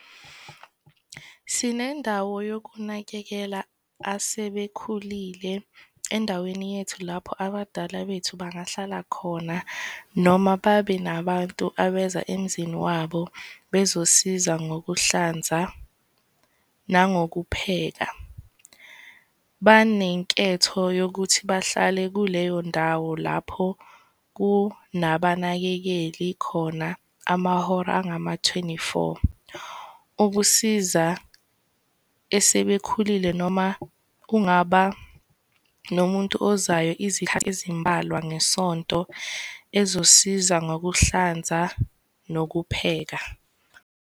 Sinendawo yokunakekela asebekhulile endaweni yethu lapho abadala bethu bangahlala khona noma babe nabantu abeza emzini wabo bezosiza ngokuhlanza nangokupheka. Banenketho yokuthi bahlale kuleyo ndawo lapho kunabanakekeli khona amahora angama-twenty-four ukusiza esebekhulile noma kungaba nomuntu ozayo izikhathi ezimbalwa ngesonto ezosiza ngokuhlanza nokupheka.